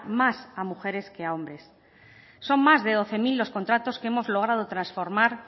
más a mujeres que a hombres son más de doce mil los contratos que hemos logrado transformar